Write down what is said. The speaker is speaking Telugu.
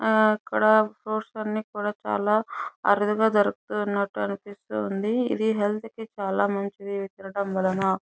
ఆ అక్కడ ఫ్రూప్ట్స్ అన్ని కూడ చాల అరుదుగా దొరుకుతున్నట్టు అనిపిస్తుంది ఇది హెల్త్ కి చాలా మంచిది ఇది తినడం వలన.